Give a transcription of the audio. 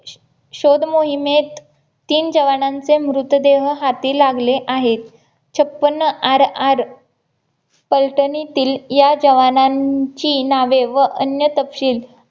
शोध मोहिमेत तीन जवानांचे मृतदेह हाती लागले आहेत छपन्न RR फलटणीतील या जवानांची नावे व अन्य तपशील